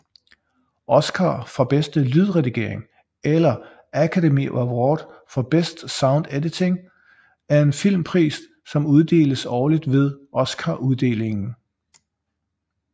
Oscar for bedste lydredigering eller Academy Award for Best Sound Editing er en filmpris som uddeles årligt ved Oscaruddelingen